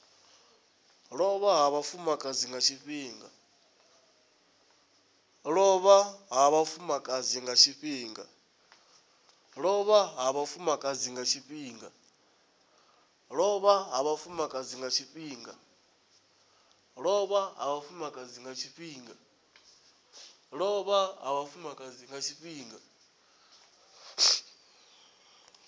lovha ha vhafumakadzi nga tshifhinga